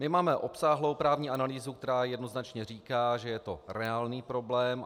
My máme obsáhlou právní analýzu, která jednoznačně říká, že je to reálný problém.